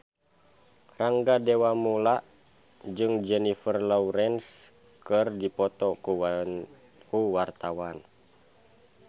Rangga Dewamoela jeung Jennifer Lawrence keur dipoto ku wartawan